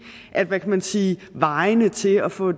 hvad kan man sige vejene til at få